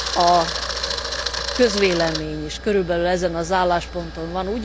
A közvélemény is körülbelül ezen az állásponton van.